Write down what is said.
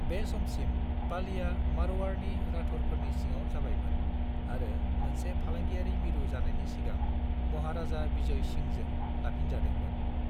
बे समसिम, पालीआ मारवाड़नि राठौड़फोरनि सिङाव जाबायमोन आरो मोनसे फालांगियारि मिरु जानायनि सिगां महाराजा विजय सिंहजों लाफिनजादोंमोन।